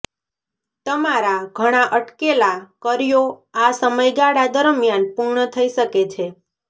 તમારા ઘણા અટકેલા કર્યો આ સમયગાળા દરમિયાન પૂર્ણ થઈ શકે છે